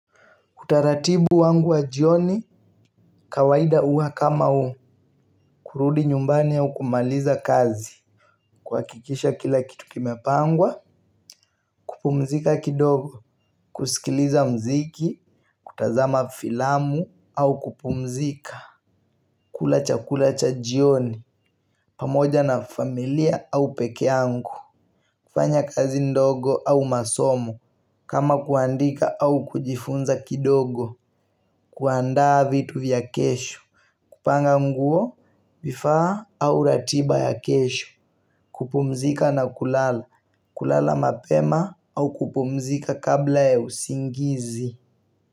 Utaratibu wangu wa jioni kawaida huwa kama kurudi nyumbani au kumaliza kazi, kuhakikisha kila kitu kimepangwa, kupumzika kidogo, kusikiliza muziki, kutazama filamu, au kupumzika, kula chakula cha jioni pamoja na familia au pekee yangu kufanya kazi ndogo au masomo kama kuandika au kujifunza kidogo, kuandaa vitu vya kesho, kupanga nguo, vifaa au ratiba ya kesho, kupumzika na kulala, kulala mapema au kupumzika kabla ya usingizi.